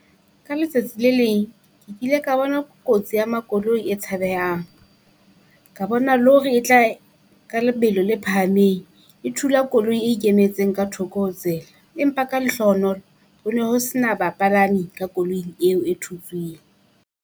Ka letsatsi le leng ke kile ka bona kotsi ya makoloi e tshabehang, ka bona lori e tla ka lebelo la phahameng. E thula koloi e ikemetseng ka thoko ho tsela. Empa ka lehlohonolo ho no ho se na bapalami ka koloing eo e thutswing.